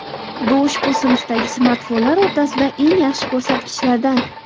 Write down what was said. Bu ushbu sinfdagi smartfonlar o‘rtasida eng yaxshi ko‘rsatkichlardan.